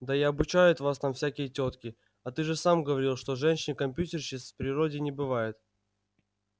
да и обучают там всякие тётки а ты же сам говорил что женщин-компьютерщиц в природе не бывает